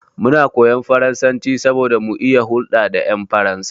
Muna koyan faransanci saboda mu iya hulɗa da ƴan Faransa.